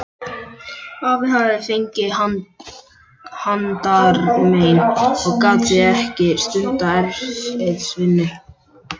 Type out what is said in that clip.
Afi hafði fengið handarmein og gat því ekki stundað erfiðisvinnu.